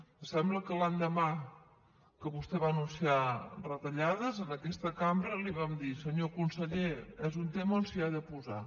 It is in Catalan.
em sembla que l’endemà que vostè va anunciar retallades en aquesta cambra li vam dir senyor conseller és un tema on s’hi ha de posar